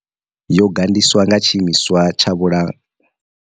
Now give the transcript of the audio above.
Yo gandiswa nga Tshiimiswa tsha Vhula.